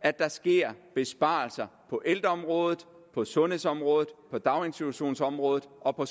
at der sker besparelser på ældreområdet på sundhedsområdet på daginstitutionsområdet og